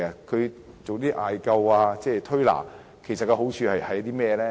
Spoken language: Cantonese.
其實艾灸、推拿的好處是甚麼呢？